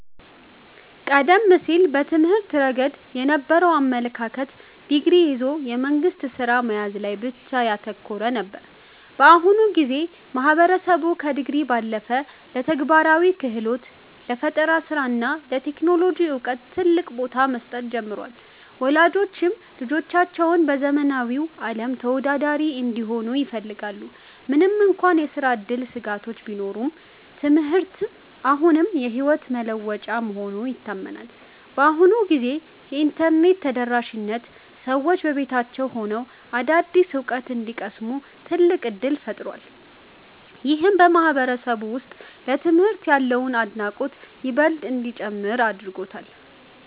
ቀደም ሲል በትምህርት ረገድ የነበረው አመለካከት ዲግሪ ይዞ የመንግሥት ሥራ መያዝ ላይ ብቻ ያተኮረ ነበር። በአሁኑ ጊዜ ግን ማህበረሰቡ ከዲግሪ ባለፈ ለተግባራዊ ክህሎት፣ ለፈጠራ ሥራ እና ለቴክኖሎጂ ዕውቀት ትልቅ ቦታ መስጠት ጀምሯል። ወላጆችም ልጆቻቸው በዘመናዊው ዓለም ተወዳዳሪ እንዲሆኑ ይፈልጋሉ። ምንም እንኳን የሥራ ዕድል ስጋቶች ቢኖሩም፣ ትምህርት አሁንም የሕይወት መለወጫ መሆኑ ይታመናል። በአሁኑ ጊዜ የኢንተርኔት ተደራሽነት ሰዎች በቤታቸው ሆነው አዳዲስ ዕውቀት እንዲቀስሙ ትልቅ ዕድል ፈጥሯል። ይህም በማህበረሰቡ ውስጥ ለትምህርት ያለውን አድናቆት ይበልጥ እንዲጨምር አድርጎታል።